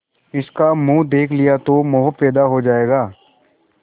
इसका मुंह देख लिया तो मोह पैदा हो जाएगा